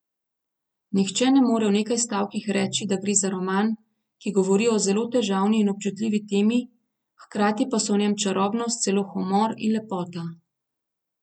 Nihče ne more v nekaj stavkih reči, da gre za roman, ki govori o zelo težavni in občutljivi temi, hkrati pa so v njem čarobnost, celo humor in lepota.